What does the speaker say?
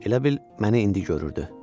Elə bil məni indi görürdü.